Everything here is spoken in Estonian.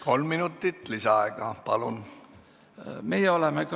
Kolm minutit lisaaega, palun!